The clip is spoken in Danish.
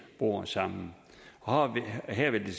bor sammen og her vil det